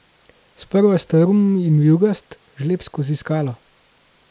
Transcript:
Sprva strm in vijugast, žleb skozi skalo.